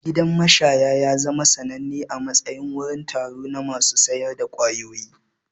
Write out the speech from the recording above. Gidan mashaya ya zama sananne a matsayin wurin taro na masu sayar da ƙwayoyi.